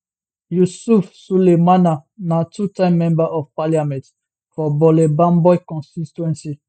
yusif sulemana na two time member of parliament for bole bamboi constituency